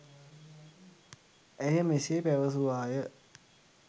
ඇය මෙසේ පැවැසුවාය.